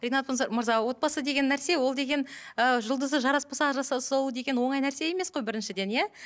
ринат мырза мырза отбасы деген нәрсе ол деген ыыы жұлдызы жараспаса ажыраса салу деген оңай нәрсе емес қой біріншіден иә